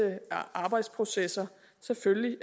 arbejdsprocesser selvfølgelig